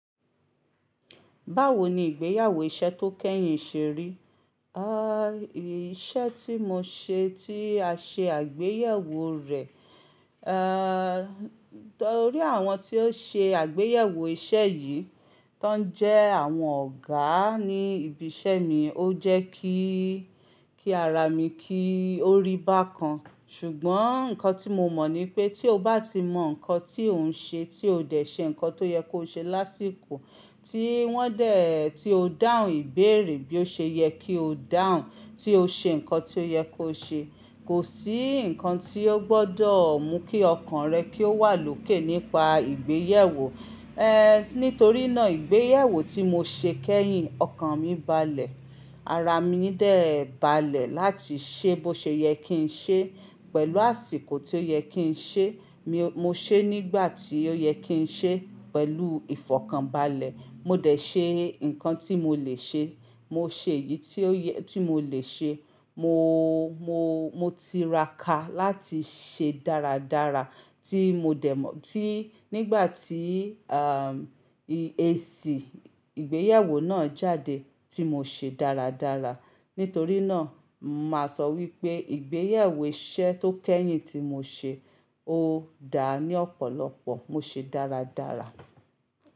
Báwo ni ìgbéyàwó iṣẹ́ tó kẹ́yìn ṣe rí? À, iṣẹ́ tí mo ṣe tí a ṣe àgbéyẹ̀wò rẹ̀, eh torí àwọn tí ó ṣe àgbéyẹ̀wò iṣẹ́ yìí, tán jẹ́ àwọn ọ̀gá ní ibi iṣẹ́ mi, ó jẹ́ kí, kí ara mi kí ó rí bákan. Ṣùgbọ́n nǹkan tí mo mọ̀ ni pé tí o bá ti mọ̀ nǹkan tí ò ń ṣe, tí o dẹ̀ ṣe nǹkan tó yẹ kó ṣe lásìkò tí wọ́n dẹ̀, tí o dáhùn ìbéèrè bí ó ṣe yẹ kí o dáhùn, tí o ṣe nǹkan tí ó yẹ kó ṣe, kò sí nǹkan tí ó gbọ́dọ̀ mú kí ọkàn rẹ kí ó wà lókè nípa ìgbéyẹ̀wò. Eh nítorínà ìgbéyẹ̀wò tí mo ṣe kẹ́yìn ọkàn mi balẹ̀, ara mi dẹ̀ balẹ̀ láti ṣe bó ṣe yẹ kí n ṣe pẹ̀lú àsìkò tí ó yẹ kí n ṣe, mo ṣe nígbà tí ó yẹ kí n ṣe pẹ̀lú ìfọ̀kànbalẹ̀. Mo dẹ̀ ṣe nǹkan tí mo lè ṣe, mo ṣe èyí tí mo lè ṣe, mo, mo, mo ti ra ká láti ṣe dáradára tí mo dẹ̀ mọ̀ tí nígbà tí àm eèsì ìgbéyẹ̀wò náà jáde tí mo ṣe dáradára. Nítorínà má sọ wípé ìgbéyẹ̀wò iṣẹ́ tó kẹ́yìn tí mo ṣe o dáa ní ọ̀pọ̀lọpọ̀, mo ṣe dáradára.